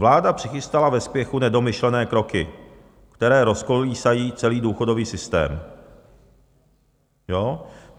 Vláda přichystala ve spěchu nedomyšlené kroky, které rozkolísají celý důchodový systém.